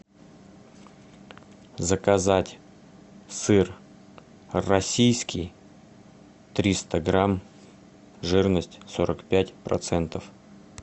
заказать сыр российский триста грамм жирность сорок пять процентов